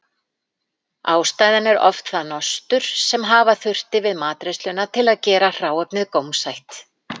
Ástæðan er oft það nostur sem hafa þurfti við matreiðsluna til að gera hráefnið gómsætt.